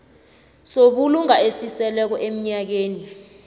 sobulunga esiseleko emnyakeni